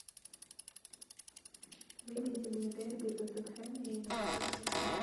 выведи мне дерби тоттенхэма и манчестер сити